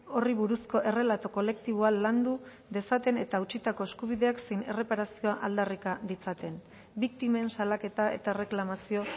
horri buruzko errelato kolektiboa landu dezaten eta hautsitako eskubideak zein erreparazioa aldarrika ditzaten biktimen salaketa eta erreklamazio